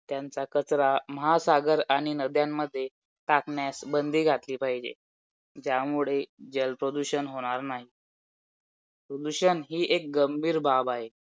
आणि शक्यतो जास्तीत जास्त attempt करायचे आहेत मला